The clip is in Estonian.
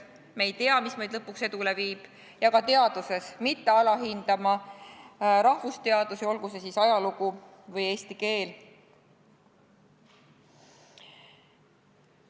Me ei tea, mis meid lõpuks edule viib, ja ka teaduses ei tohi alahinnata rahvusteadusi, olgu see siis ajalugu või eesti keel.